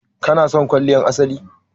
ki/ka na son kwalliyar asali?